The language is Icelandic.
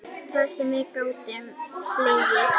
Það sem við gátum hlegið.